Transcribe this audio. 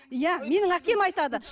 иә менің әкем айтады